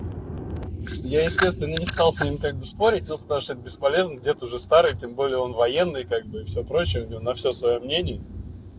я естественно не стал с ним как бы спорить ну потому что это бесполезно дед уже старый тем более он военный и как бы все прочее у него на всё своё мнение